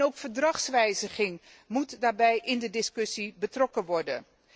Ook een verdragswijziging moet daarbij in de discussie betrokken worden.